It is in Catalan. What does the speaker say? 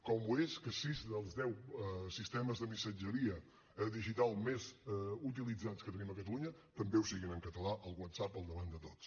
com ho és que sis dels deu sistemes de missatgeria digital més utilitzats que tenim a catalunya també ho siguin en català el whatsapp al davant de tots